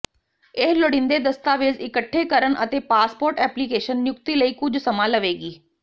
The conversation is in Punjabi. ਇਹ ਲੋੜੀਂਦੇ ਦਸਤਾਵੇਜ਼ ਇਕੱਠੇ ਕਰਨ ਅਤੇ ਪਾਸਪੋਰਟ ਐਪਲੀਕੇਸ਼ਨ ਨਿਯੁਕਤੀ ਲਈ ਕੁਝ ਸਮਾਂ ਲਵੇਗੀ